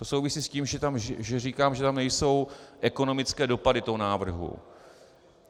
To souvisí s tím, že říkám, že tam nejsou ekonomické dopady toho návrhu.